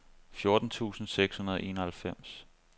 fjorten tusind seks hundrede og enoghalvfems